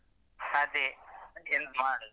ಅದೇ ಎಂತ ಮಾಡುದು.